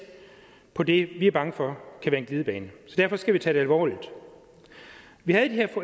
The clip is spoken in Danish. på det vi er bange for kan være en glidebane derfor skal vi tage det alvorligt vi havde